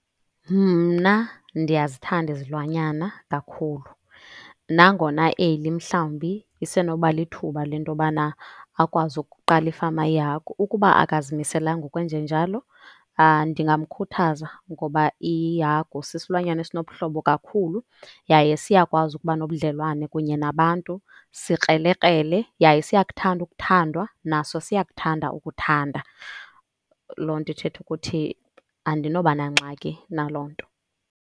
Mna ndiyazithanda izilwanyana kakhulu. Nangona eli mhlawumbi isenoba lithuba le nto yobana akwazi ukuqala ifama yehagu. Ukuba akazimiselanga ukwenjenjalo, ndingamkhuthaza ngoba ihagu sisilwanyana esinobuhlobo kakhulu yaye siyakwazi ukuba nobudlelwane kunye nabantu. Sikrelekrele yaye siyakuthanda ukuthandwa, naso siyakuthanda ukuthanda. Loo nto ithetha ukuthi andinoba nangxaki naloo nto.